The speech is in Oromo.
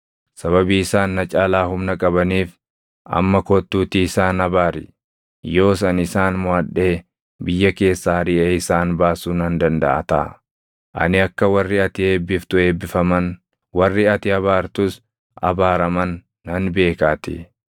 Sababii isaan na caalaa humna qabaniif amma kottuutii isaan abaari. Yoos ani isaan moʼadhee biyya keessaa ariʼee isaan baasuu nan dandaʼa taʼa. Ani akka warri ati eebbiftu eebbifaman, warri ati abaartus abaaraman nan beekaatii.”